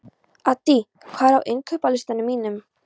Addý, hvað er á innkaupalistanum mínum?